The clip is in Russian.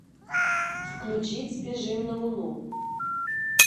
включить сбежим на луну